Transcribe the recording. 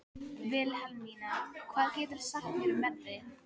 Vilhelmína, hvað geturðu sagt mér um veðrið?